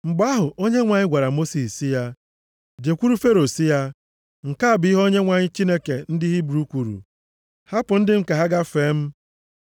Mgbe ahụ, Onyenwe anyị gwara Mosis sị ya, “Jekwuru Fero sị ya. ‘Nke a bụ ihe Onyenwe anyị Chineke ndị Hibru kwuru, “Hapụ ndị m ka ha gaa fee m.”